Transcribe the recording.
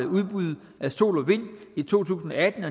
udbud af sol og vind i to tusind og atten